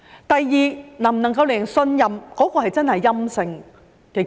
第二，能否令人相信檢測結果真的是陰性呢？